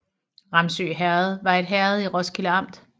Ramsø Herred var et herred i Roskilde Amt